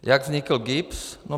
Jak vznikl GIBS?